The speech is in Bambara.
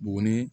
Buguni